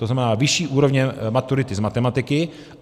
To znamená vyšší úrovně maturity z matematiky.